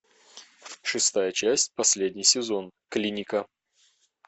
шестая часть последний сезон клиника